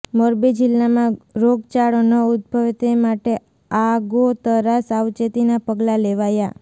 મોરબી જિલ્લામાં રોગચાળો ન ઉદભવે તે માટે આગોતરા સાવચેતીના પગલાં લેવાયા